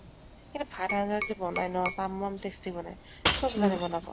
সেই ভাৰ আন্জা যে বনায় ন তামাম tasty বনায়। চব জানে বনাব।